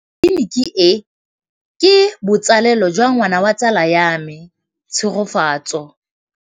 Tleliniki e, ke botsalêlô jwa ngwana wa tsala ya me Tshegofatso.